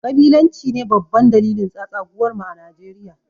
kabilanci ne babban dalilin tsatsaguwar mu a Nijeriya